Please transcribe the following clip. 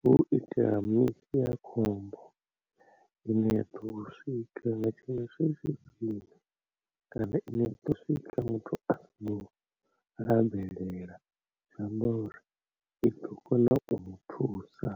hu u itela misi ya khombo ine ya ḓo swika nga tshinwe tsha zwifhinga kana ine ya ḓo swika muthu are ra bvelela tsha ngauri i ḓo kona u mu thusa.